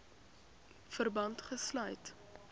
verband gesluit